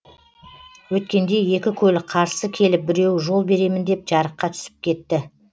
өткенде екі көлік қарсы келіп біреуі жол беремін деп жарыққа түсіп кетті